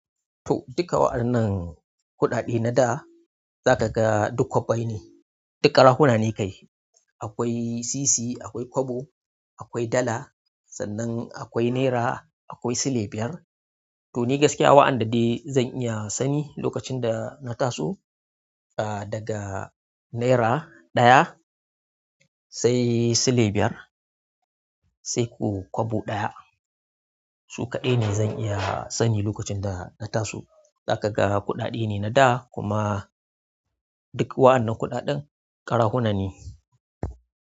To duka wa'annan kuɗaɗe na da, za ka ga duk kwabbai ne. Duk karahuna ne kai. Akwai sisi, akwai kwabo, akwai dala, sannan akwai nera, akwai sile biyar. To ni gaskiya wa'anda dai zan iya sani lokacin da na taso, ah daga nera ɗaya sai sile biyar sai ku kwabo ɗaya. Su kaɗai ne zan iya sani lokacin da na taso. Zakaga kuɗaɗe ne nada kuma duk wa'annan kuɗaɗan karahuna ne.